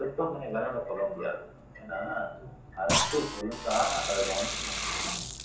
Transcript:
மருத்துவமனை மேல நம்ம சொல்ல முடியாது ஏன்னா அரசு ஒழுங்கா அத கவனிச்சுருந்தாங்கன்னா